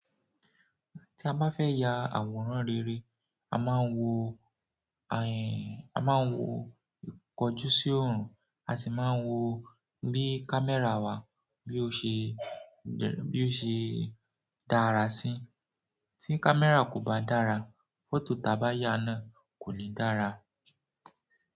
Tí a bá fẹ́ ya àwòrán rere, a máa ń wo ìkọjú sí òòrùn, a sì máa ń wo bí camera wà, bí ó ṣe dára sí. Tí camera kò bá dára, photo ta bá yá náà kò lè dára.